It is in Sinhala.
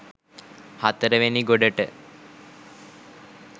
හතර වෙනි ගොඩට